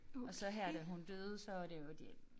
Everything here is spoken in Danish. Og så her da hun døde så var det jo det